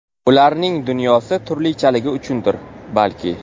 Ularning dunyosi turlichaligi uchundir, balki.